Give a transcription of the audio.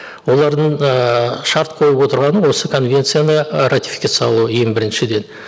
олардың ыыы шарт қойып отырғаны осы конвенцияны ратификациялау ең біріншіден